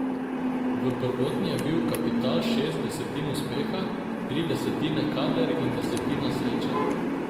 V prvotni je bil kapital šest desetin uspeha, tri desetine kader in desetina sreča.